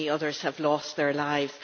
How many others have lost their lives?